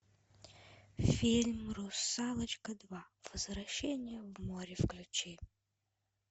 фильм русалочка два возвращение в море включи